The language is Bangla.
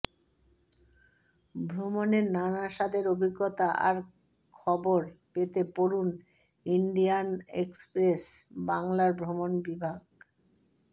ভ্রমণের নানা স্বাদের অভিজ্ঞতা আর খবর পেতে পড়ুন ইন্ডিয়ান এক্সপ্রেস বাংলার ভ্রমণ বিভাগ